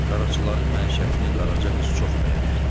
Qaraçıların məişətini Qaraca qız çox bəyənirdi.